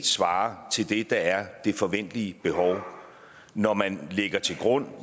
svare til det der er det forventelige behov når man lægger til grund